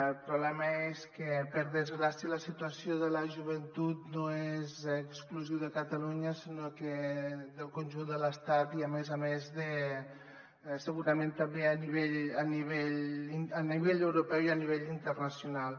el problema és que per desgrà·cia la situació de la joventut no és exclusiva de catalunya sinó del conjunt de l’es·tat i a més a més segurament també a nivell europeu i a nivell internacional